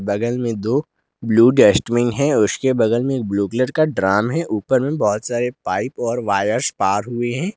बगल में दो ब्लू डस्टबिन है उसके बगल में ब्लू कलर का ड्रम है ऊपर में बहुत सारे पाइप और वायर्स पार हुए हैं।